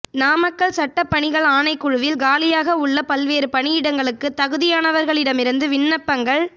நாமக்கல் சட்டப் பணிகள் ஆணைக்குழுவில் காலியாக உள்ள பல்வேறு பணியிடங்களுக்கு தகுதியானவர்களிடமிருந்து விண்ணப்பங்கள்